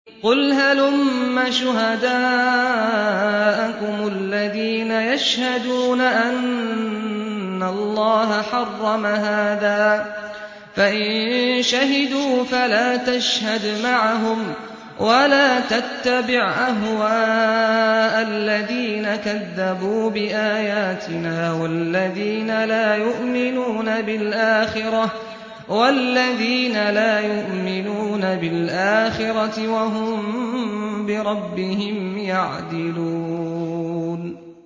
قُلْ هَلُمَّ شُهَدَاءَكُمُ الَّذِينَ يَشْهَدُونَ أَنَّ اللَّهَ حَرَّمَ هَٰذَا ۖ فَإِن شَهِدُوا فَلَا تَشْهَدْ مَعَهُمْ ۚ وَلَا تَتَّبِعْ أَهْوَاءَ الَّذِينَ كَذَّبُوا بِآيَاتِنَا وَالَّذِينَ لَا يُؤْمِنُونَ بِالْآخِرَةِ وَهُم بِرَبِّهِمْ يَعْدِلُونَ